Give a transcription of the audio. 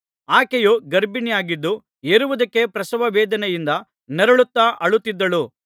ಆಕೆಯು ಗರ್ಭಿಣಿಯಾಗಿದ್ದು ಹೆರುವುದಕ್ಕೆ ಪ್ರಸವವೇದನೆಯಿಂದ ನರಳುತ್ತಾ ಅಳುತ್ತಿದ್ದಳು